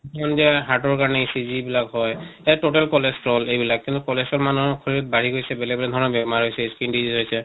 hearth ৰ কাৰণে ECG বিলাক হয় এ total cholesterol এইবিলাক। কিন্তু cholesterol মানুহিৰ শৰীৰত বাঢ়ি গৈছে, বেলেগ বেলেগ ধৰণৰ বেমাৰ হৈছে হৈছে